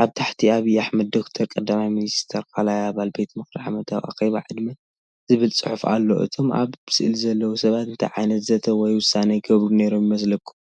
ኣብ ታሕቲ፤“ኣብይ ኣሕመድ (ዶ/ር) ቀዳማይ ሚኒስተር 2ይ ኣባል ቤት ምኽሪ ዓመታዊ ኣኼባ ዕድመ።”ዝብል ፅሑፍ ኣሎ። እቶም ኣብ ስእሊ ዘለዉ ሰባት እንታይ ዓይነት ዘተ ወይ ውሳነ ይገብሩ ነይሮም ይመስለኩም?